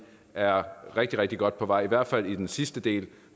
er rigtig rigtig godt på vej i hvert fald den sidste del